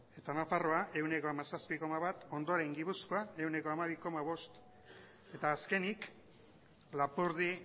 eta nafarroa ehuneko hamazazpi koma bat ondoren gipuzkoa ehuneko hamabi koma bost eta azkenik lapurdi